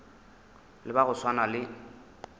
le ba go swana le